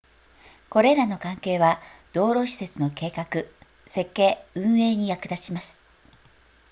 これらの関係は道路施設の計画設計運営に役立ちます